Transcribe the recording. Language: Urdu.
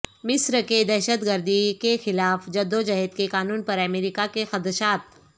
مصرکے دہشت گردی کیخلاف جدوجہد کے قانون پر امریکہ کے خدشات